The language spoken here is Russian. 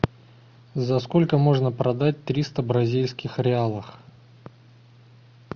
за сколько можно продать триста бразильских реалов